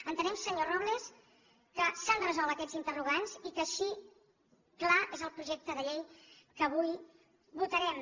entenem senyor robles que s’han resolt aquests interrogants i que així clar és el projecte de llei que avui votarem